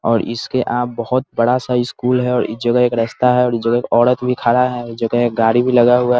और इसके आ बोहोत बड़ा-सा स्कूल है और इ जगह एक रास्ता है और इ जगह एक औरत भी खड़ा है इ जगह एक गाड़ी भी लगा हुआ है।